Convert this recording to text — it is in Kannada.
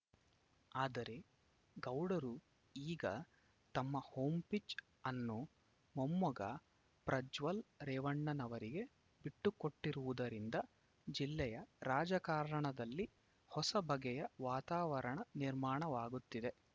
ಆದರೆ ಗೌಡರು ಈಗ ತಮ್ಮ ಹೋಂ ಪಿಚ್‌ ಅನ್ನು ಮೊಮ್ಮಗ ಪ್ರಜ್ವಲ್‌ ರೇವಣ್ಣನವರಿಗೆ ಬಿಟ್ಟು ಕೊಟ್ಟಿರುವುದರಿಂದ ಜಿಲ್ಲೆಯ ರಾಜಕಾರಣದಲ್ಲಿ ಹೊಸ ಬಗೆಯ ವಾತಾವರಣ ನಿರ್ಮಾಣವಾಗುತ್ತಿದೆ